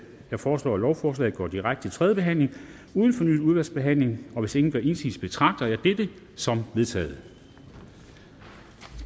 jeg foreslår at lovforslagene går direkte til tredje behandling uden fornyet udvalgsbehandling og hvis ingen gør indsigelse betragter jeg dette som vedtaget